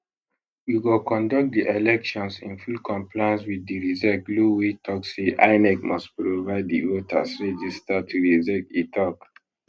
we go conduct di elections in full compliance wit di rsiec law wey tok say inec must provide di voters register to rsiec e tok